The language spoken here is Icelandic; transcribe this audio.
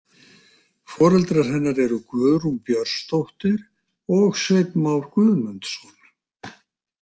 Foreldrar hennar eru Guðrún Björnsdóttir og Sveinn Már Guðmundsson.